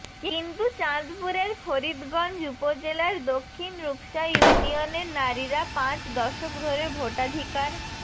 কিন্তু চাঁদপুরের ফরিদগঞ্জ উপজেলার দক্ষিণ রূপসা ইউনিয়নের নারীরা পাঁচ দশক ধরে ভোটাধিকার